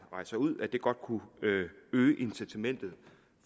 rejser ud godt kunne øge incitamentet